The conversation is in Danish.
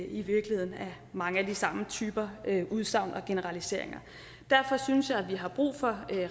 i virkeligheden mange af de samme type udsagn og generaliseringer derfor synes jeg at vi har brug for